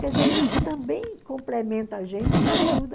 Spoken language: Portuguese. Quer dizer, isso também complementa a gente e ajuda.